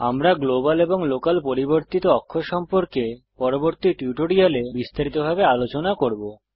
আমরা গ্লোবাল এবং লোকাল পরিবর্তিত অক্ষ সম্পর্কে পরবর্তী টিউটোরিয়ালে বিস্তারিত ভাবে আলোচনা করব